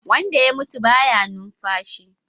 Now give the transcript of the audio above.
Wanda ya mutu baya numfashi